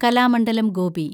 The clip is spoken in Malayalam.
കലാമണ്ഡലം ഗോപി